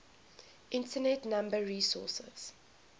internet number resources